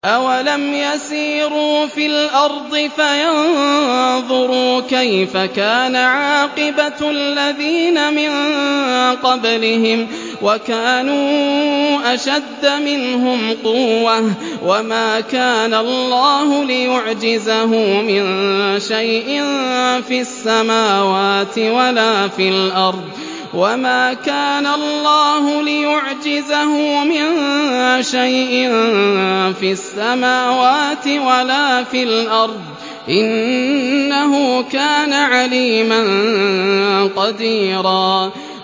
أَوَلَمْ يَسِيرُوا فِي الْأَرْضِ فَيَنظُرُوا كَيْفَ كَانَ عَاقِبَةُ الَّذِينَ مِن قَبْلِهِمْ وَكَانُوا أَشَدَّ مِنْهُمْ قُوَّةً ۚ وَمَا كَانَ اللَّهُ لِيُعْجِزَهُ مِن شَيْءٍ فِي السَّمَاوَاتِ وَلَا فِي الْأَرْضِ ۚ إِنَّهُ كَانَ عَلِيمًا قَدِيرًا